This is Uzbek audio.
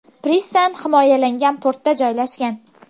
Pristan himoyalangan portda joylashgan.